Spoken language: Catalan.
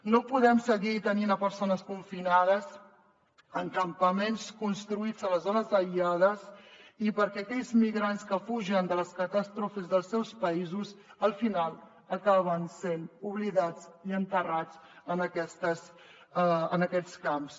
no podem seguir tenint persones confinades en campaments construïts a les zones aïllades perquè aquells migrants que fugen de les catàstrofes dels seus països al final acaben sent oblidats i enterrats en aquests camps